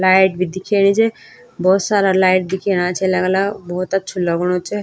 लाइट भी दिखेणी च भोत सारा लाइट दिखेणा छी अलग-अलग भोत अछू लगणु च।